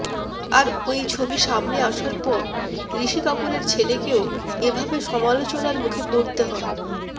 আর ওই ছবি সামনে আসার পর ঋষি কাপুরের ছেলেকেও এভাবে সমালোচনার মুখে পড়তে হয়